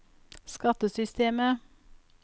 skattesystemet